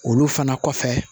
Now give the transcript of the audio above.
Olu fana kɔfɛ